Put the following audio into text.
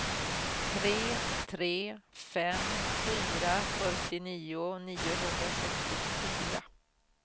tre tre fem fyra fyrtionio niohundrasextiofyra